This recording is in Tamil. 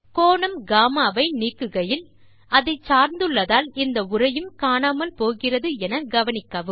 கோணம் கம்மா வை நீக்குகையில் அதை சார்ந்துள்ளதால் இந்த உரையும் காணாமல் போகிறது என கவனிக்கவும்